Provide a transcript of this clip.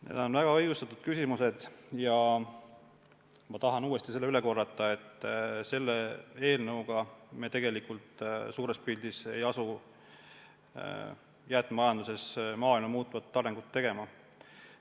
Need on väga õigustatud küsimused ja ma tahan uuesti korrata, et selle eelnõuga me tegelikult suures pildis ei asu jäätmemajanduses maailma muutvat arengut tegema.